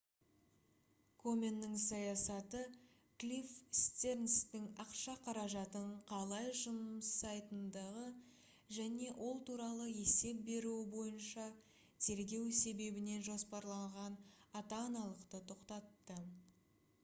коменнің саясаты клифф стернстің ақша қаражатын қалай жұмсайтындығы және ол туралы есеп беруі бойынша тергеу себебінен жоспарланған ата-аналықты тоқтатты